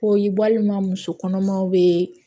Ko ye walima muso kɔnɔmaw bɛ